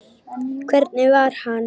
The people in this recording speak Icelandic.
Hvernig var hann?